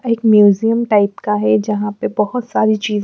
एक museum type का है जहां पे बहोत सारी ची--